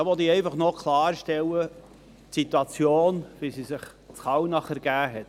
Dazu will ich einfach noch klarstellen, wie sich die Situation in Kallnach ergeben hat.